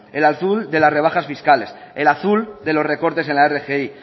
el azul de las rebajas fiscales el azul de los recortes en la rgi